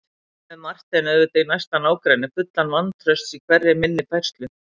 Með Martein auðvitað í næsta nágrenni, fullan vantrausts á hverri minni færslu.